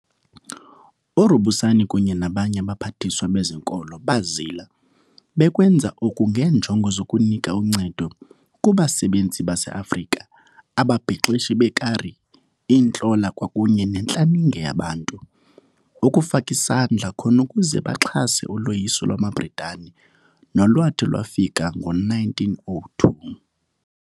URubusana kunye nabanye abaphathiswa bezonkolo bazila, bekwenza oku ngeenjongo zokunika uncedo kubasebenzi baseAfrika, ababhexeshi beekari, iintlola kwakunye nentlaninge yabantu, ukufaka isandla khona ukuze baxhase uloyiso lwamaBritani, nolwathi lwafika ngo-1902.